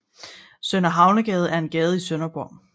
Sønder Havnegade er en gade i Sønderborg